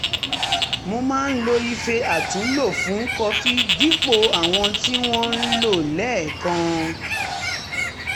mo máa ń lo ife àtúnlò fún kọfí dípò àwọn tí wọ́n ń lò lẹ́ẹ̀kan